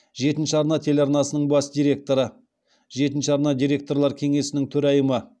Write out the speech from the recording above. жетінші арна телеарнасының бас директоры жетінші арна директорлар кеңесінің төрайымы